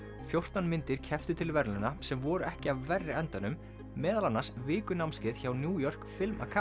fjórtán myndir kepptu til verðlauna sem voru ekki af verri endanum meðal annars vikunámskeið hjá New York Film